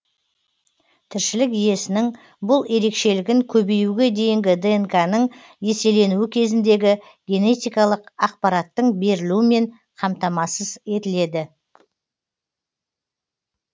тіршілік иесінің бұл ерекшелігін көбеюге дейінгі днқ ның еселенуі кезіндегі генетикалық ақпараттың берілуімен қамтамасыз етіледі